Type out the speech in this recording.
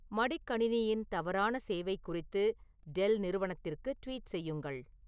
மடிக்கணினியின் தவறான சேவை குறித்து டெல் நிறுவனத்திற்கு ட்வீட் செய்யுங்கள்